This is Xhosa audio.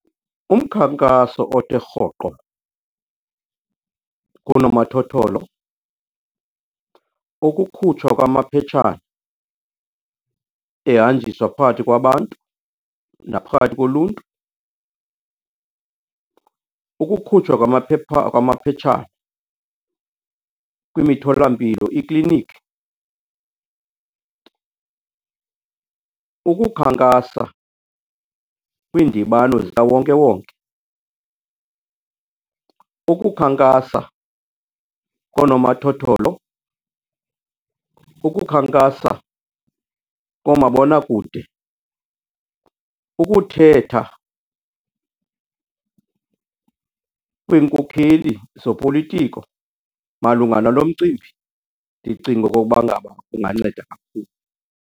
Umkhankaso othe rhoqo kunomathotholo, ukukhutshwa kwamaphetshana ehanjiswa phakathi kwabantu naphakathi koluntu, ukukhutshwa kwamaphetshana kwimitholampilo, iikliniki, ukukhankasa kwiindibano zikawonkewonke, ukukhankakasa koonomathotholo, ukukhankasa koomabonakude, ukuthetha kweenkokheli zopolitiko malunga nalo mcimbi ndicinga okokuba ngaba kunganceda kakhulu.